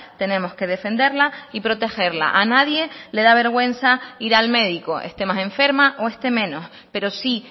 tenemos que defenderla y protegerla a nadie le da vergüenza ir al médico este más enferma o esté menos pero sí